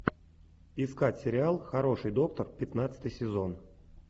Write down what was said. искать сериал хороший доктор пятнадцатый сезон